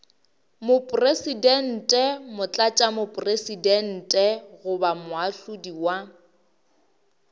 mopresidente motlatšamopresidente goba moahlodi wa